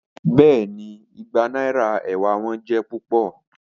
Bẹẹni, igba naira ewa wọn jẹ pupọ.